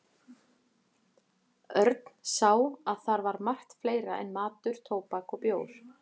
Örn sá að þar var margt fleira en matur, tóbak og bjór.